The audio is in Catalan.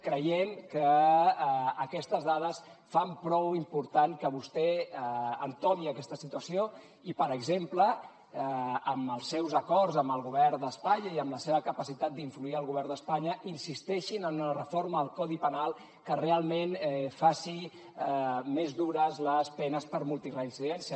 creiem que aquestes dades fan prou important que vostè entomi aquesta situació i per exemple amb els seus acords amb el govern d’espanya i amb la seva capacitat d’influir al govern d’espanya insisteixin en una reforma del codi penal que realment faci més dures les penes per multireincidència